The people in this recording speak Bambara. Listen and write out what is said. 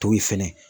To ye fɛnɛ